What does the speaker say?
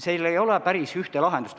Seal ei ole päris ühte lahendust.